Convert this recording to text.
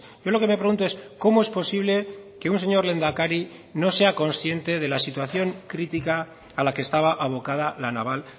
yo lo que me pregunto es cómo es posible que un señor lehendakari no sea consciente de la situación crítica a la que estaba abocada la naval